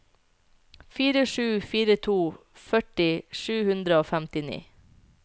fire sju fire to førti sju hundre og femtini